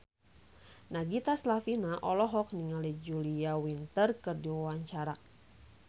Nagita Slavina olohok ningali Julia Winter keur diwawancara